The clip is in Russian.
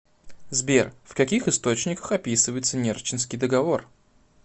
сбер в каких источниках описывается нерчинский договор